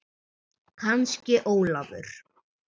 Kannski Ólafur.